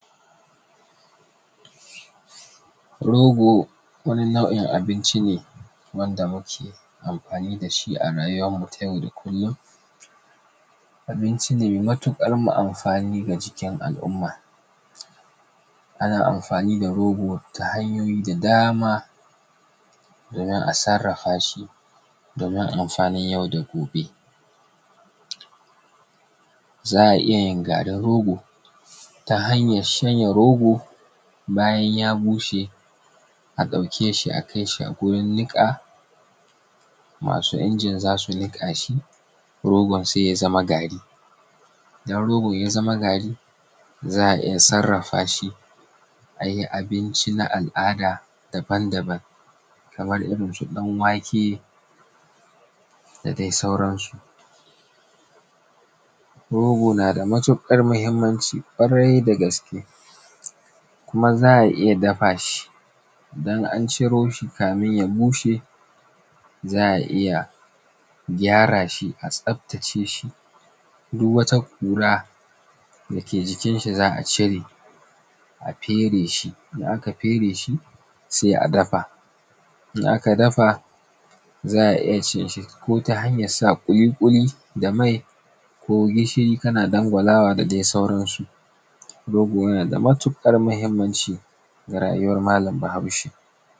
Rogo wani nau'in abinci ne wanda muke amfani da shi a rayuwarmu ta yau da kullun, abinci ne mai matuƙar amfani a jikin al'umma. Ana amfani da rogo ta hanyoyi da dama domin a sarrafa shi domin amfanin yau da gobe. Za a iyayin garin rogo ta hanyar shanya rogo, bayan ya bushe a ɗauke shi a kai shi gurin niƙa masu injin za su niƙa shi rogon sai ya zama gari, idan rogo ya zama gari za a iya sarrafa shi a yi abinci na al’ada daban daban kamar irinsu ɗan wake da dai sauransu. Rogo na da matuƙar muhimmanci ƙwarai da gaske, kuma za a iya dafa shi idan an ciro shi kafin ya bushe, za a iya gyara shi, a tsaftace shi duk wata ƙura da ke jikin shi za a cire a fere shi idan aka fere shi, sai a dafa. Idan aka dafa za a iya cin shi ko ta hanyar sa ƙuli ƙuli da mai, ko gishiri kana dangwalawa da dai sauransu. Rogo yana da matuƙar muhimmanci ga rayuwar malam bahaushe.